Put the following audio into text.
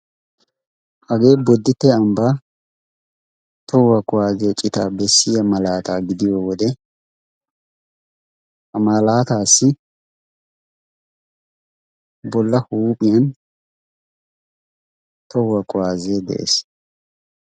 Hagee boditte ambba tohuwaa kuwaazee citaa bessiya malaataa gidiyo wode ha malaataassi bolla huuphiyan tohuwaa kuwaazee de'ees.